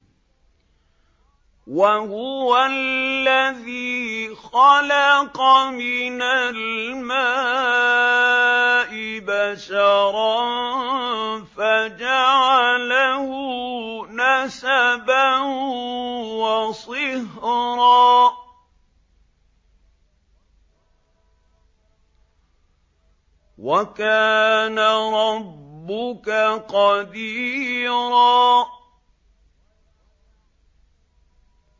وَهُوَ الَّذِي خَلَقَ مِنَ الْمَاءِ بَشَرًا فَجَعَلَهُ نَسَبًا وَصِهْرًا ۗ وَكَانَ رَبُّكَ قَدِيرًا